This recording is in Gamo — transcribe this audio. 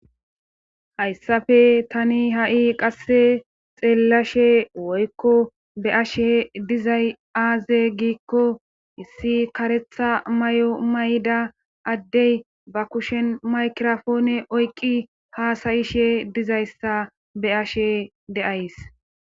Hayssafe tani ha7i qasse xeellashe woykko be ashe dizay aaze giikko issi karetha may'o mayda addey ba kushen maykrofoone oyqi haasayishe dizayssa be ashe deays.